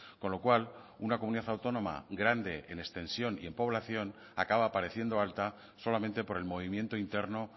con lo cual una comunidad autónoma grande en extensión y en población acaba pareciendo alta solamente por el movimiento interno